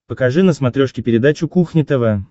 покажи на смотрешке передачу кухня тв